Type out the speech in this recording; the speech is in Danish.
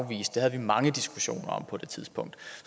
afvist det havde vi mange diskussioner om på det tidspunkt